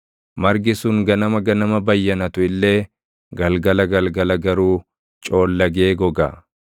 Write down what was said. margi sun ganama ganama bayyanatu illee galgala galgala garuu coollagee goga.